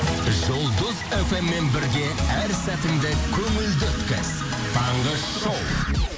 жұлдыз фммен бірге әс сәтіңді көңілді өткіз таңғы шоу